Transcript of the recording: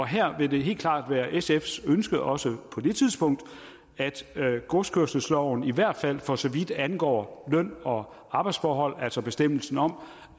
her vil det helt klart være sfs ønske også på det tidspunkt at godskørselsloven i hvert fald for så vidt angår løn og arbejdsforhold altså bestemmelsen om